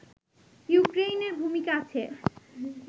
ইউক্রেইনের ভূমিকা আছে